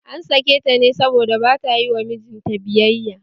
An sake ta ne saboda bata yi wa mijin ta biyayya